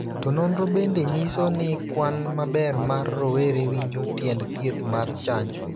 To nonrono bende nyiso ni kwan maber mar rowere winjo tiend thieth mar chanjo.